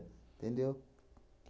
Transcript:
Entendeu?